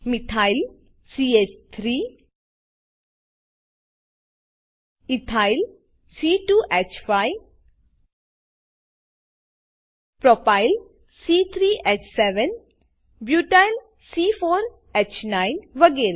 methyl ચ3 methyl ethyl c2હ5 ethyl propyl c3હ7 પ્રોપાઈલ બ્યુટાઇલ c4હ9 બ્યુટાઈલ વગેરે